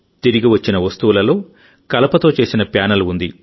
తిరిగి వచ్చిన వస్తువులలో కలపతో చేసిన ప్యానెల్ ఉంది